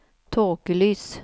tåkelys